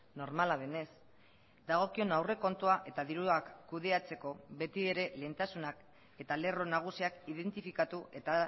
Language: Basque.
normala denez dagokion aurrekontua eta diruak kudeatzeko beti ere lehentasunak eta lerro nagusiak identifikatu eta